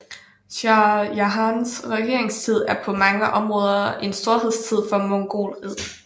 Shah Jahans regeringstid er på mange områder en storhedstid for mogulriget